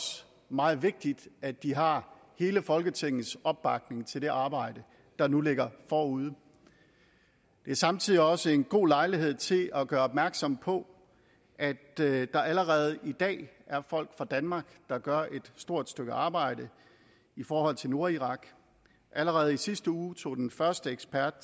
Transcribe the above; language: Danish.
meget vigtigt at de har hele folketingets opbakning til det arbejde der nu ligger forude det er samtidig også en god lejlighed til at gøre opmærksom på at der allerede i dag er folk fra danmark der gør et stort stykke arbejde i forhold til nordirak allerede i sidste uge tog den første ekspert